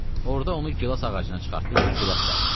Orada onu gilas ağacına çıxartdı ki, gilas dərsın.